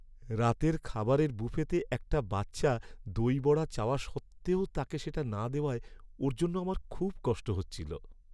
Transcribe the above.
রাতের খাবারের বুফেতে একটা বাচ্চা দই বড়া চাওয়া সত্ত্বেও তাকে সেটা না দেওয়ায় ওর জন্য আমার খুব কষ্ট হচ্ছিল।